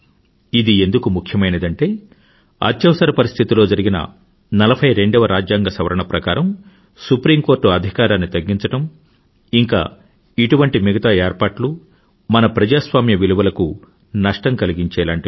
ఇది ఎందుకు ముఖ్యమైనదంటే ఎమర్జెన్సీ అత్యవసర పరిస్థితిలో జరిగిన 42వ రాజ్యాంగ సవరణ ప్రకారం సుప్రీం కోర్టు అధికారాన్ని తగ్గించడం ఇంకా ఇటువంటి మిగతా ఏర్పాట్లు మన ప్రజాస్వామ్య విలువలకు నష్టం కలిగించేలాంటివి